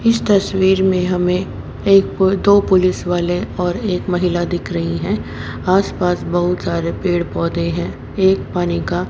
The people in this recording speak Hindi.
इस तस्वीर में हमें एक पो दो पोलिस वाले और एक महिला दिख रही है आसपास बहुत सारे पेड़ पौधे हैं एक पानी का--